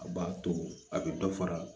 A b'a to a bɛ dɔ fara